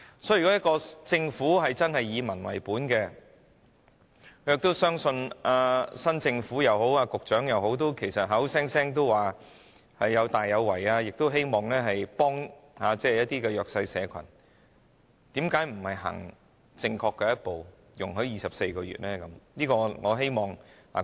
所以，如果政府真的以民為本，正如新一屆政府或局長口口聲聲說要大有為和希望幫助弱勢社群，為何不走出正確的一步，容許有24個月的檢控時限呢？